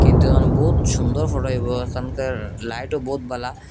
কিন্তু এহানে বহুত সুন্দর ফটো হইবো এখানকার লাইটও বহুত বালা ।